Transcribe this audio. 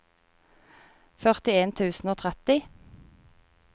førtien tusen og tretti